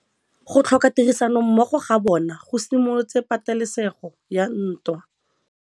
Go tlhoka tirsanommogo ga bone go simolotse patêlêsêgô ya ntwa.